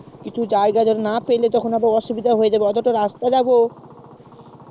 তখন জায়গা না পেলে অসুবিধা হয়ে যাবে দেখ কতটা রাস্তা যাবো